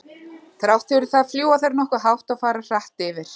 Þrátt fyrir það fljúga þær nokkuð hátt og fara hratt yfir.